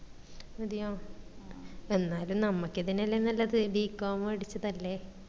അതയാ എന്നാലും നമ്മക്ക് ഇതന്നെലേ നല്ലത് bcom പഠിച്ചതല്ലേ